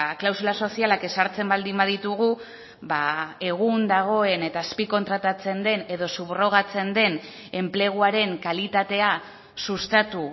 klausula sozialak ezartzen baldin baditugu egun dagoen eta azpikontratatzen den edo subrogatzen den enpleguaren kalitatea sustatu